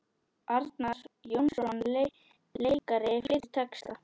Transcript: Arnar Jónsson leikari flytur texta.